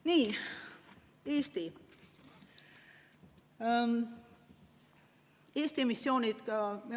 Nii, nüüd Eestist, Eesti emissioonidest.